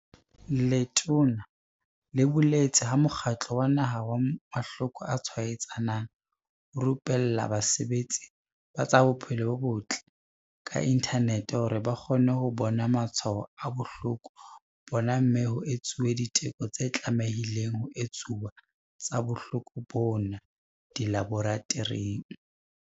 Letona le boletse ha Mokgatlo wa Naha wa Mahloko a Tshwaetsanang o rupella basebeletsi ba tsa bophelo bo botle ka inthanete hore ba kgone ho bona matshwao a bohloko bona mme ho etsuwe diteko tse tlamehileng ho etsuwa tsa bohloko bona dilaboratoring.